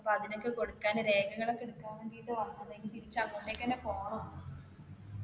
അപ്പൊ അതിനൊക്കെ കൊടുക്കാൻ ഉള്ള രേഖകൾ ഒക്കെ എടുക്കാൻ വേണ്ടിട്ട് വന്നതാ ഇനി തിരിച്ചു അങ്ങോട്ടേക്ക് തന്നെ പോണം.